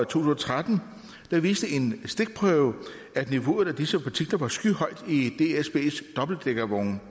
tusind og tretten viste en stikprøve at niveauet af disse partikler var skyhøjt i dsbs dobbeltdækkervogne